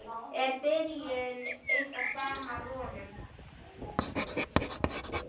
Er byrjun ykkar framar vonum?